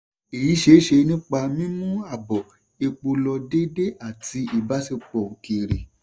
èyí ṣeéṣe nípa mímú ààbò epo lọ déédé àti ìbàṣiṣẹ́pọ̀ òkèrè.